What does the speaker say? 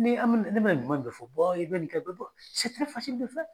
Ni an mi ne mina ɲuman de fɔ i be nin kɛ